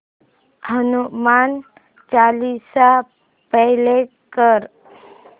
Hanuman Chalisa play कर